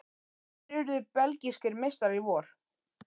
Hverjir urðu belgískir meistarar í vor?